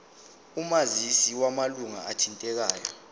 omazisi wamalunga athintekayo